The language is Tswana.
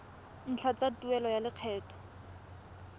ntlha tsa tuelo ya lekgetho